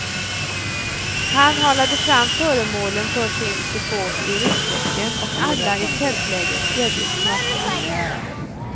Han halade fram föremålen för sin support ur ryggsäcken och alla i tältlägret erbjöds smaka.